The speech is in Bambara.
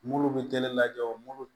Mulu bɛ teli la jɔ